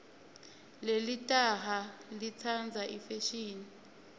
lelitaha litsandza ifeshini